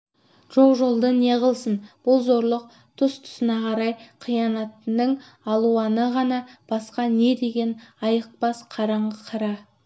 жоқ жолды неғылсын бұл зорлық тұс-тұсына қарай қиянатының алуаны ғана басқа не деген айықпас қараңғы қара